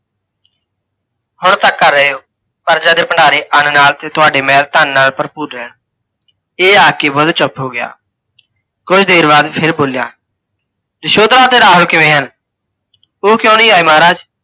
ਹੁਣ ਤੱਕ ਕਰ ਰਹੇ ਹੋ। ਪ੍ਜਾ ਦੇ ਭੰਡਾਰੇ ਅੰਨ ਨਾਲ ਤੇ ਤੁਹਾਡੇ ਮਹਿਲ ਧੰਨ ਨਾਲ ਭਰਪੂਰ ਰਹਿਣ। ਇਹ ਆਖਕੇ ਬੁੱਧ ਚੁੱਪ ਹੋ ਗਿਆ। ਕੁੱਝ ਦੇਰ ਬਾਅਦ ਫਿਰ ਬੋਲਿਆ, ਯਸ਼ੋਧਰਾ ਅਤੇ ਰਾਹੁਲ ਕਿਵੇਂ ਹਨ, ਓਹ ਕਿਓਂ ਨਹੀਂ ਆਏ ਮਹਾਰਾਜ?